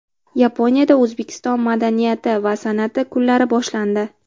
Yaponiyada O‘zbekiston madaniyati va san’ati kunlari boshlandi.